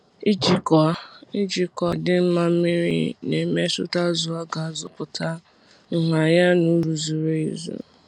Ijikwa Ijikwa adịm mma mmiri na-emetụta zụ a ga-azụpụta, nha ya na uru zuru ezu.